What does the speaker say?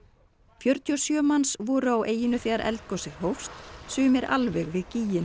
fjörutíu og sjö manns voru á eyjunni þegar eldgosið hófst sumir alveg við